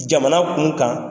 Jamana kun kan